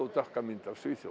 dökka mynd af Svíþjóð